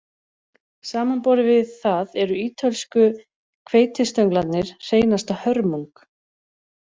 Samanborið við það eru ítölsku hveitistönglarnir hreinasta hörmung